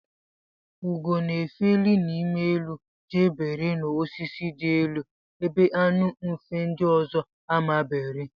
Ugo na efeli n'ime elu jee bere n'osisi di elu ebe anu mfe ndi ọzọ ama bere.